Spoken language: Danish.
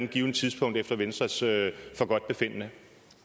givent tidspunkt efter venstres forgodtbefindende